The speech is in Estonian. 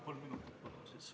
Kolm minutit lisaks, palun!